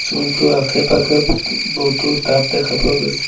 পুল টোৰ আখে-পাখে বহুতো টাব দেখা পোৱা গৈছে।